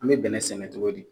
An me bɛnɛ sɛnɛ togo di ?